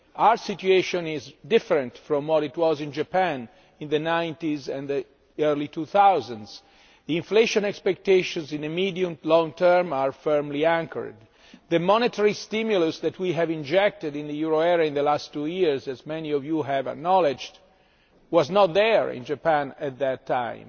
Our situation is different from what it was in Japan in the 1990s and early 2000s. Inflation expectations in the medium and long term are firmly anchored the monetary stimulus that we have injected in the euro area in the last two years as many of you have acknowledged was not there in Japan at that time.